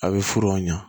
A bɛ furu ɲa